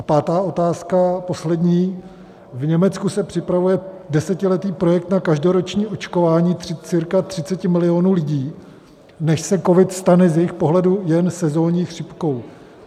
A pátá otázka, poslední: V Německu se připravuje desetiletí projekt na každoroční očkování cca 30 milionů lidí, než se covid stane z jejich pohledu jen sezonní chřipkou.